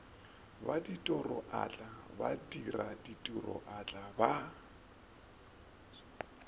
ya tiroatla badira tiroatla ba